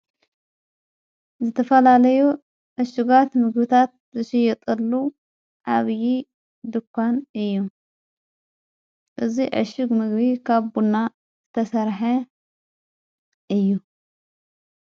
ዝተፈላለዩ ኣሽጓት ምግታት ዝሽየጠሉ ኣብዪ ድኳን እዩ እዙይ ዕሹግ ምግቢ ካብ ቡና ዝተሠርሐ እዩ::